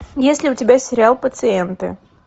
есть ли у тебя сериал пациенты